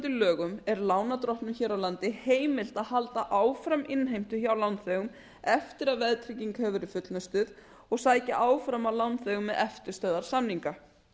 lögum er lánardrottnum hér a landi heimilt að halda áfram innheimtu hjá lánþegum eftir að veðtrygging hefur verið fullnustuð og sækja áfram að lánþegum með eftirstöðvar samninga